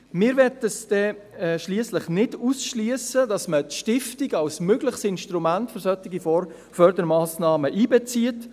Schliesslich möchten wir nicht ausschliessen, dass man die Stiftung als mögliches Instrument für solche Fördermassnahmen einbezieht.